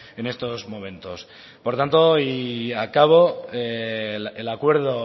en estos momentos por tanto y acabo el acuerdo